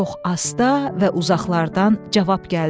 Çox asta və uzaqlardan cavab gəldi.